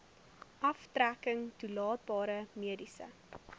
aftrekking toelaatbare mediese